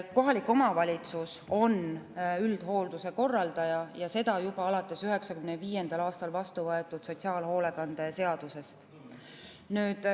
Kohalik omavalitsus on üldhoolduse korraldaja ja seda juba alates 1995. aastal vastu võetud sotsiaalhoolekande seadusest.